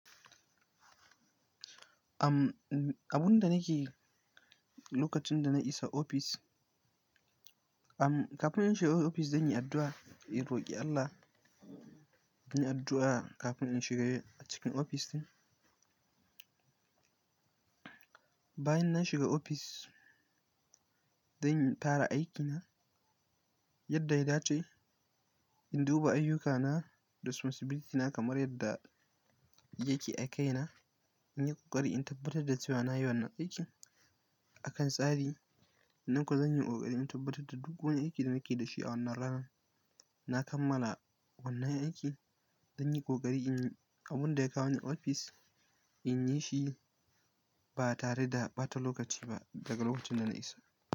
Am, abun da nake lokacin da na isa ofis, am, kafin in shiga ofis zan yi addu'a, in roƙi Allah, in yi addu'a kafin in shiga cikin ofistin. Bayan na shiga ofis, zan tara aikina yadda ya dace, in duba ayyukana da responsibility na kamar yadda yake a kaina, in yi kokari in tabbatar da cewa na yi wannan aikin akan tsari. Nan kuwa zan yi ƙoƙari in tabbatar da duk wani aiki da nake da shi a wannan rana. Na kammala wannan aiki, zan yi ƙoƙari in yi abun da ya kawo ni ofis, in yi shi ba tare da ɓata lokaci ba daga lokacin da na isa.